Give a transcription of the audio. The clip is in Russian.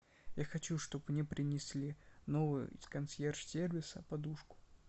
я хочу чтоб мне принесли новую из консьерж сервиса подушку